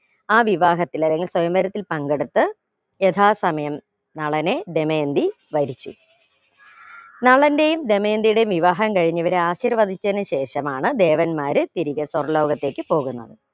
ആ വിവാഹത്തിൽ സ്വയം വരത്തിൽ പങ്കെടുത്ത് യഥാസമയം യഥാസമയം നളനെ ദമയന്തി വരിച്ചു നളന്റേയും ദമയന്തിയുടെയും വിവാഹം കഴിഞ്ഞ് അവരെ ആശിർവധിച്ചതിനു ശേഷമാണ് ദേവന്മാർ തിരികെ സ്വർഗ്ഗ ലോകത്തേക് പോകുന്നത്